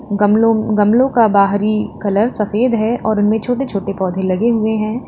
गमलों गमलों का बाहरी कलर सफेद है और उनमें छोटे छोटे पौधे लगे हुए हैं।